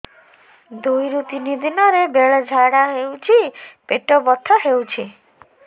ଦୁଇରୁ ତିନି ଦିନରେ ବେଳେ ଝାଡ଼ା ହେଉଛି ପେଟ ବଥା ହେଉଛି